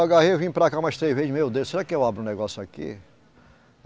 Eu vim para cá umas três vezes, meu Deus, será que eu abro um negócio aqui?